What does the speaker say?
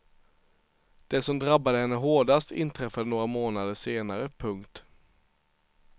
Det som drabbade henne hårdast inträffade några månader senare. punkt